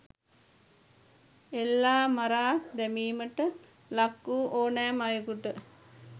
එල්ලා මරා දැමීමට ලක් වූ ඕනෑම අයකුට